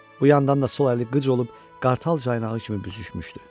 Bu yandan da sol əli qıc olub qartal caynağı kimi büzüşmüşdü.